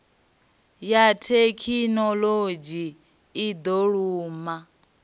ya thekhinoḽodzhi i do lumba